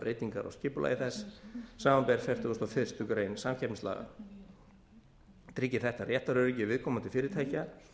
breytingar á skipulagi þess samanber fertugustu og fyrstu grein samkeppnislaga tryggir þetta réttaröryggi viðkomandi fyrirtækja